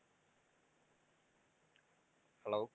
hello